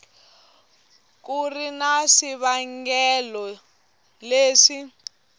ku ri na swivangelo leswi